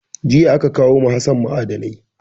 Jiya aka kawo ma Hassan ma'adanai.